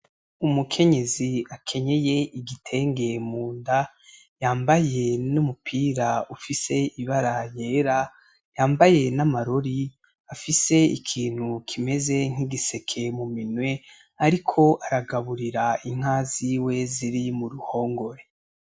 Umukenyezi akenyeye igitenge mu nda yambaye n'umupira ufise ibara ryera, yambaye n'amarori afise ikintu kimeze nk'igiseke mu minwe ariko aragaburira inka ziwe ziri mu ruhongore.